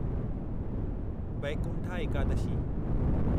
Vaikuntha Ekadashi